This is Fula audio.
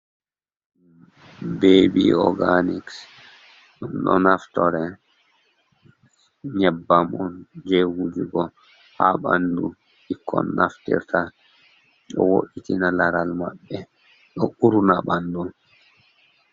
Bebi oganiks, ɗum ɗo naftire nyebbamon je wujugo ha ɓandu ɓikkon naftirta, ɗo woitina laral maɓɓe ɗo uruna ɓandu.